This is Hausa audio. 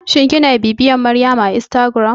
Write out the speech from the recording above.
Shin kina bibiyar Maryama a instagram?